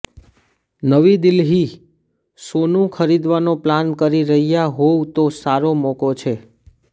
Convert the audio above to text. નવી દિલ્હીઃ સોનું ખરીદવાનો પ્લાન કરી રહ્યા હોવ તો સારો મોકો છે